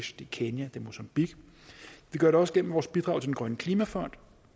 kenya det er mozambique vi gør det også gennem vores bidrag til den grønne klimafond